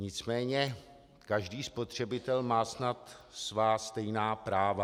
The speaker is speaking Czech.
Nicméně každý spotřebitel má snad svá stejná práva.